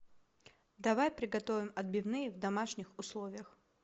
давай приготовим отбивные в домашних условиях